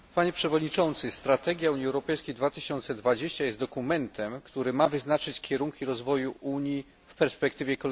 Strategia Unii Europejskiej 2020 jest dokumentem, który ma wyznaczyć kierunki rozwoju Unii w perspektywie kolejnej dekady.